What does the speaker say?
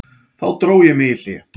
Þá dró ég mig í hlé.